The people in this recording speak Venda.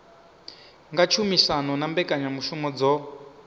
nga tshumisano na mbekanyamushumo dzo